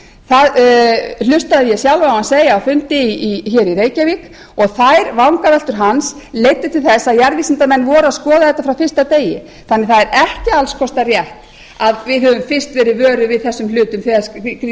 það hlustaði ég sjálf á hann segja á fundi í reykjavík og þær vangaveltur hans leiddu til þess að jarðvísindamenn voru að skoða þetta frá fyrsta degi þannig að það er ekki alls kostar rétt að við höfum fyrst verið vöruð við þessum hlutum þegar